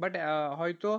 but, হয়তো,